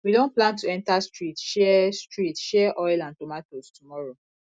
we don plan to enter street share street share oil and tomatoes tomorrow